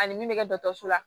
Ani min bɛ kɛ dɔgɔtɔrɔso la